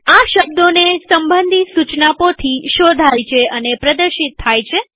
આ શબ્દોને સંબંધી સુચના પોથી શોધાય છે અને પ્રદર્શિત થાય છે